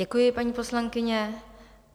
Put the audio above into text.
Děkuji, paní poslankyně.